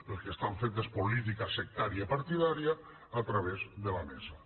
el que fan és política sectària partidària a través de la mesa